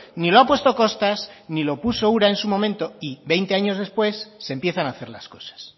ni lo ha puesto costas ni lo puso ura en su momento y veinte años después se empiezan a hacer las cosas